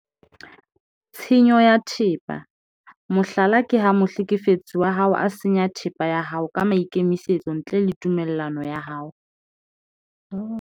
Tshenyo ya thepa- mohlala ke ha mohlekefetsi wa hao a senya thepa ya hao ka maikemisetso ntle le tumello ya hao.